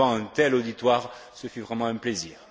Mais devant un tel auditoire, ce fut vraiment un plaisir.